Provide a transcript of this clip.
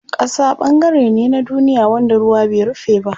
Ƙasa ɓangare ne na duniya wanda ruwa bai rufe ba.